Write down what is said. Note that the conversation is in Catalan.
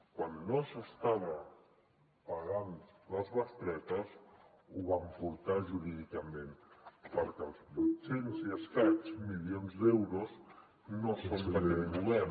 quan no s’estaven pagant les bestretes ho vam portar jurídicament perquè els vuit cents i escaig milions d’euros no són d’aquest govern